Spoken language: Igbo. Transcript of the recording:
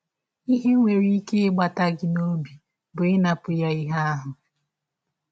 Ihe nwere ike ịgbata gị n’ọbi bụ ịnapụ ya ihe ahụ.